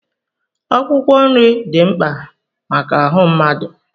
Akwụkwọ nri dị mkpa maka ahụ mmadụ.